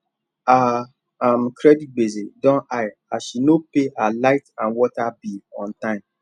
her um credit gbese don high as she no pay her light and water bill on time